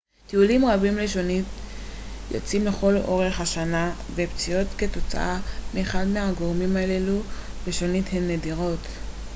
טיולים רבים לשונית יוצאים לכל אורך השנה ופציעות כתוצאה מאחד מהגורמים הללו בשונית הן נדירות